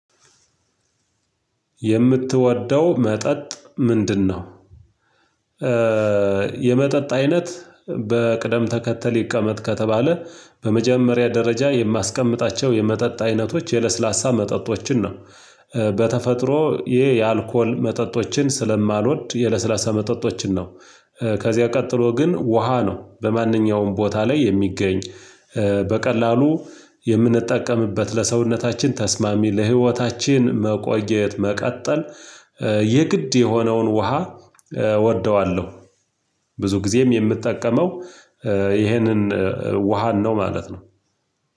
የምትወደው መጠጥ ምንድነው? የመጠጥ አይነት በቅደም ተከተል ይቀመጥ ከተባለ በመጀመሪያ ደረጃ የማስቀምጣቸው የመጠጥ አይነቶች የለስላሳ መጠጦችን ነው። በተፈጥሮ ይሄ የአልኮል መጠጦችን ስለማልወድ የለስላሳ መጠጦችን ነው። ከዚያ ቀጥሎ ግን ውሃ ነው በማንኛውም ቦታ ላይ የሚገኝ በቀላሉ የምንጠቀምበት ለሰውነታችን ተስማሚ ለህይወታችን መቆየት መቀጠል የግድ የሆነውን ውሃ እወደዋለሁ። ብዙ ጊዜም የምትጠቀመው ይህንን ውሃን ነው ማለት ነው።